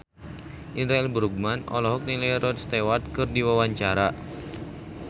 Indra L. Bruggman olohok ningali Rod Stewart keur diwawancara